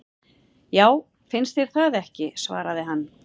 Já, finnst þér það ekki svaraði hann.